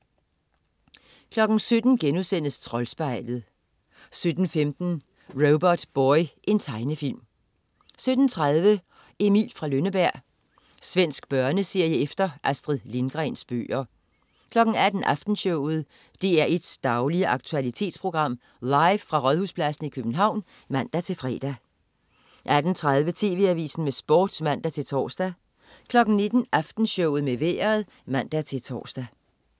17.00 Troldspejlet* 17.15 Robotboy. Tegnefilm 17.30 Emil fra Lønneberg. Svensk børneserie efter Astrid Lindgrens bøger 18.00 Aftenshowet. DR1's daglige aktualitetsprogram, live fra Rådhuspladsen i København (man-fre) 18.30 TV Avisen med Sport (man-tors) 19.00 Aftenshowet med Vejret (man-tors)